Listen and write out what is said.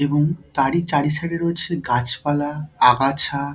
এবং তারই চারি সাইড -এ রয়েছে গাছপালা আগাছা।